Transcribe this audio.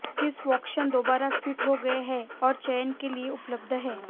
Chris Woakes दोबारा फिट हो गए हैं और चयन के लिए उपलब्ध हैं